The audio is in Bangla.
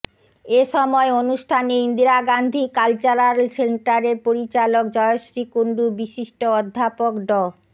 এ সময় অনুষ্ঠানে ইন্দিরা গান্ধী কালচারাল সেন্টারের পরিচালক জয়শ্রী কুন্ডু বিশিষ্ট অধ্যাপক ড